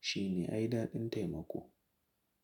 Shine ai daɗin taimako.